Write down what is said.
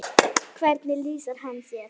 Hvernig lýsir hann sér?